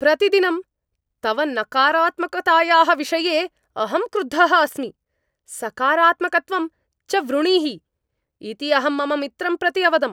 प्रतिदिनं तव नकारात्मकतायाः विषये अहं क्रुद्धः अस्मि, सकारात्मकत्वं च वृणीहि इति अहं मम मित्रं प्रति अवदम्।